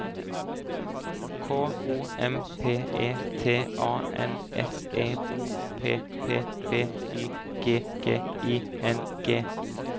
K O M P E T A N S E O P P B Y G G I N G